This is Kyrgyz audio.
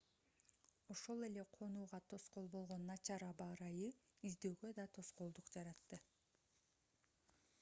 ошол эле конууга тоскоол болгон начар аба ырайы издөөгө да тоскоолдук жаратты